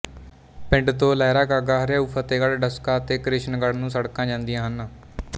ਪਿੰਡ ਤੋਂ ਲਹਿਰਾਗਾਗਾ ਹਰਿਆਓ ਫਤਿਹਗੜ੍ਹ ਡਸਕਾ ਤੇ ਕਿਸ਼ਨਗੜ੍ਹ ਨੂੰ ਸੜਕਾਂ ਜਾਂਦੀਆਂ ਹਨ